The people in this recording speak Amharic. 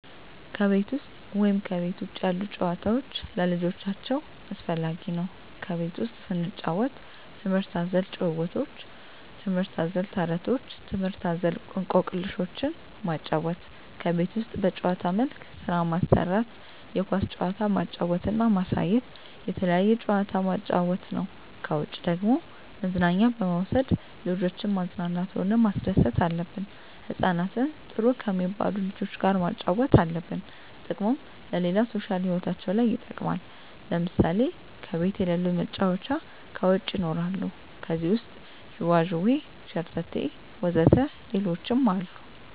ከቤት ውሰጥ ወይም ከቤት ውጭ ያሉ ጭዋታዎች ለልጆቻቸው አስፈላጊ ነው ከቤት ውስጥ ስንጫወት ትምህርት አዘል ጫውውቶች ትምህርት አዘል ተረቶች ትምህርት አዘል እኮክልሾችን ማጫወት ከቤት ውስጥ በጭዋታ መልክ ስራ ማሰራት የኳስ ጭዋታ ማጫወት እና ማሳየት የተለያየ ጭዋታ ማጫወት ነው ከውጭ ደግሞ መዝናኛ በመውሰድ ልጆችን ማዝናናት ሆነ ማስደሰት አለብን ህጻናትን ጥሩ ከሜባሉ ልጆች ጋር ማጫወት አለብን ጥቅሙም ለሌላ ሦሻል ህይወታቸው ለይ ይጠቅማል ለምሳሌ ከቤት የለሉ መጫወቻ ከውጭ ይኖራሉ ከዜህ ውሰጥ ጅዋጅዌ ሸረተቴ ወዘተ ሌሎችም አሉ